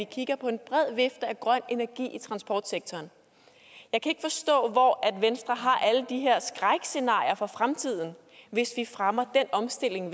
kigger på en bred vifte til grøn energi i transportsektoren jeg kan ikke forstå hvor venstre har alle de her skrækscenarier fra for fremtiden hvis vi fremmer den omstilling